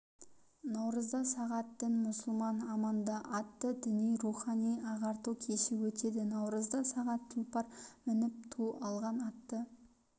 наурызда сағат дін-мұсылман аманда атты діни-рухани ағарту кеші өтеді наурызда сағат тұлпар мініп ту алған атты